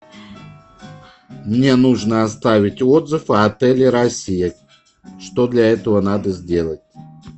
мне нужно оставить отзыв о отеле россия что для этого надо сделать